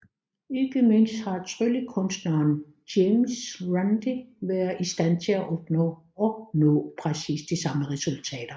Ikke mindst har tryllekunstneren James Randi været i stand til at opnå præcis de samme resultater